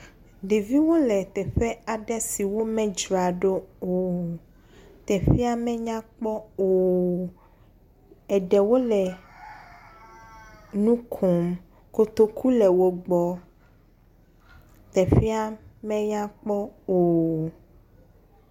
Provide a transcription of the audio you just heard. Ɖeviwo le teƒe aɖe si womedzraɖo o, teƒea menyakpɔ o,eɖewo le nu kom, kotoku le wo gbɔ, teƒea menyakpɔ o.